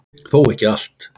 Þó ekki allt.